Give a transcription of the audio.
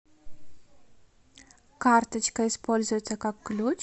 карточка используется как ключ